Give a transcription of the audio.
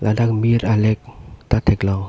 ladak mir alek ta theklong.